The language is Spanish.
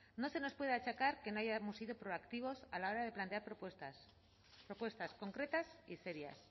no se nos puede achacar que no hayamos sido proactivos a la hora de plantear propuestas propuestas concretas y serias